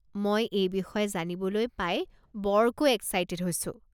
মই এই বিষয়ে জানিবলৈ পাই বৰকৈ এক্সাইটেড হৈছো।